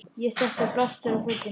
Ég setti blástur á fötin.